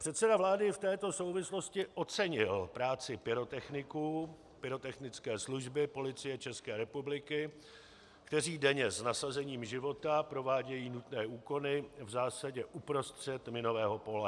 Předseda vlády v této souvislosti ocenil práci pyrotechniků, pyrotechnické služby Policie České republiky, kteří denně s nasazením života provádějí nutné úkony v zásadě uprostřed minového pole.